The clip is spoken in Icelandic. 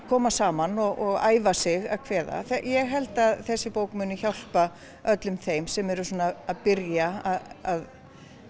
koma saman og æfa sig að kveða ég held að þessi bók muni hjálpa þeim sem eru svona að byrja að